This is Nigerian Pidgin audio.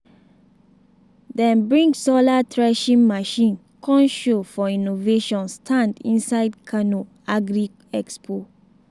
dem bring solar threshing machine come show for innovation stand inside kano agri expo.